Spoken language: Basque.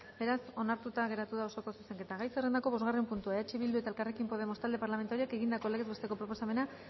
beraz onartuta geratu da osoko zuzenketa gai zerrendako bosgarren puntua eh bildu eta elkarrekin podemos talde parlamentarioek egindako legez besteko proposamena